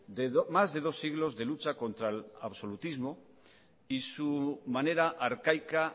de más de dos siglos de lucha contra el absolutismo y su manera arcaica